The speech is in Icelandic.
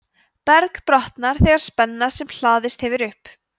berg brotnar þegar spenna sem hlaðist hefur upp